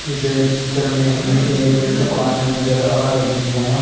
इस पिक्चर में हमें एक दुकान है नजर आ रही है।